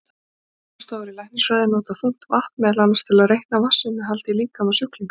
Rannsóknastofur í læknisfræði nota þungt vatn meðal annars til að reikna vatnsinnihald í líkama sjúklinga.